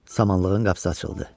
Samanlığın qapısı açıldı.